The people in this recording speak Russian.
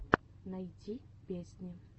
найти песни